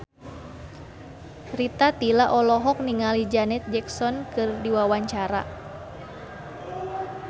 Rita Tila olohok ningali Janet Jackson keur diwawancara